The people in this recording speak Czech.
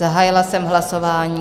Zahájila jsem hlasování.